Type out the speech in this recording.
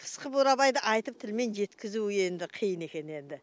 қысқы бурабайды айтып тілмен жеткізу енді қиын екен енді